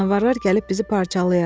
Canavarlar gəlib bizi parçalayar.